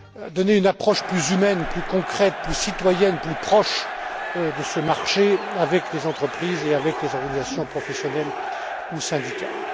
pour donner une approche plus humaine, plus concrète, plus citoyenne, plus proche de ce marché avec les entreprises et avec les organisations professionnelles ou syndicales.